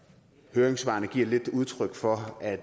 høringssvarene giver lidt udtryk for at